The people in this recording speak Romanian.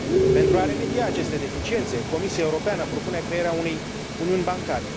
Pentru a remedia aceste deficiențe, Comisia Europeană propune crearea unei uniuni bancare.